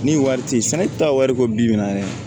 Ni wari ti sanni ta wari ko bi na yɛrɛ